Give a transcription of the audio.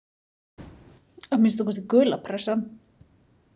Að minnsta kosti gula pressan.